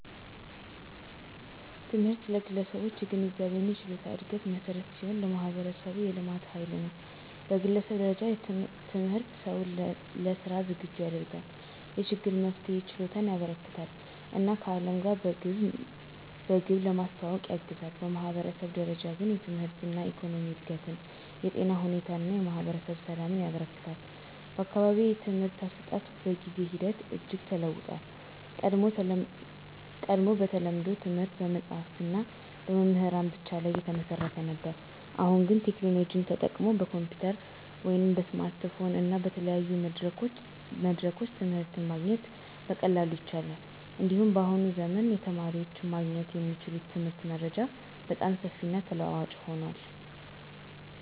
ትምህርት ለግለሰቦች የግንዛቤና የችሎታ እድገት መሠረት ሲሆን፣ ለማህበረሰቡም የልማት ኃይል ነው። በግለሰብ ደረጃ ትምህርት ሰውን ለሥራ ዝግጁ ያደርጋል፣ የችግር መፍትሄ ችሎታን ያበረከትለታል እና ከዓለም ጋር በግብ ለመዋወቅ ያግዛል። በማህበረሰብ ደረጃ ግን ትምህርት የኢኮኖሚ እድገትን፣ የጤና ሁኔታን እና የማህበረሰብ ሰላምን ያበረክታል። በአካባቢዬ የትምህርት አሰጣጥ በጊዜ ሂደት እጅግ ተለውጦአል። ቀድሞ በተለምዶ ትምህርት በመጽሀፍትና በመምህራን ብቻ ላይ የተመሰረተ ነበር። አሁን ግን ቴክኖሎጂ ተጠቅመው በኮምፒዩተር፣ በስማርትፎን እና በተለያዩ መድረኮች ትምህርት ማግኘት በቀላሉ ይቻላል። እንዲሁም በአሁኑ ዘመን የተማሪዎች ማግኘት የሚችሉት የትምህርት መረጃ በጣም ሰፊና ተለዋዋጭ ሆኗል።